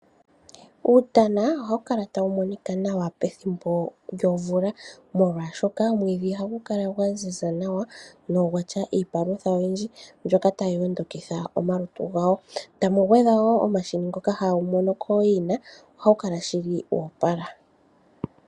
Uutana ohawu kala tawu monika nawa pethimbo lyomvula, molwashoka omwiidhi ohagu kala gwa ziza nawa, nogwa tya iipalutha oyindji mbyoka tayi ondokitha omalutu gawo, tamu gwedhwa wo omahini ngoka hawu mono kooyina. Ohawu kala shili woopala.